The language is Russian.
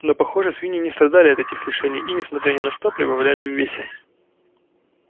но похоже свиньи не страдали от этих лишений и несмотря ни на что прибавляли в весе